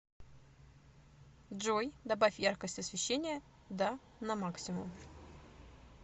джой добавь яркость освещения да на максимум